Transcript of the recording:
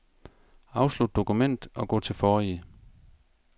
Afslut dokument og gå til forrige.